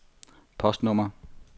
postnummer